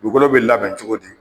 Dugukolo be labɛn cogo di ?